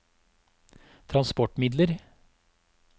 transportmidler